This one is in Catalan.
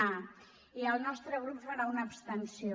a i el nostre grup hi farà una abstenció